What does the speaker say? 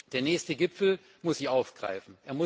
Der nächste Gipfel muss sie aufgreifen.